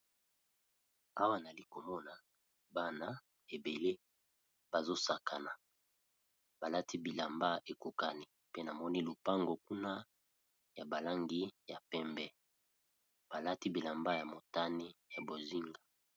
Awa, nali komona bana ebele bazo sakana. Balati bilamba ekokani, pe namoni lopango kuna ya balangi ya pembe. Ba lati bilamba ya motane, ya bozinga.